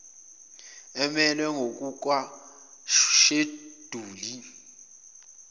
emelwe ngokuka sheduli